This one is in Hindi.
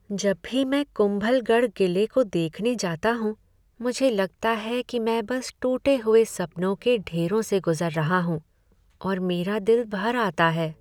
जब भी मैं कुंभलगढ़ किले को देखने जाता हूँ, मुझे लगता है कि मैं बस टूटे हुए सपनों के ढेरों से गुज़र रहा हूँ और मेरा दिल भर आता है।